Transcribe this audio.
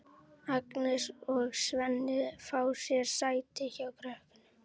Agnes og Svenni fá sér sæti hjá krökkunum.